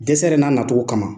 Dɛsɛ yɛrɛ n'a na cogo kama